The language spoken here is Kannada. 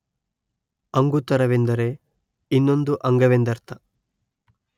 ಅಂಗುತ್ತರವೆಂದರೆ ಇನ್ನೊಂದು ಅಂಗವೆಂದರ್ಥ